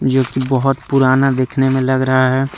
जो की बहोत पुराना दिखने में लग रहा हैं।